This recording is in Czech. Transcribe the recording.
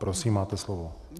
Prosím, máte slovo.